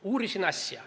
Ma uurisin asja.